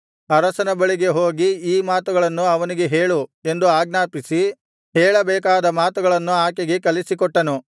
ಅರಸನ ಬಳಿಗೆ ಹೋಗಿ ಈ ಮಾತುಗಳನ್ನು ಅವನಿಗೆ ಹೇಳು ಎಂದು ಆಜ್ಞಾಪಿಸಿ ಹೇಳಬೇಕಾದ ಮಾತುಗಳನ್ನು ಆಕೆಗೆ ಕಲಿಸಿಕೊಟ್ಟನು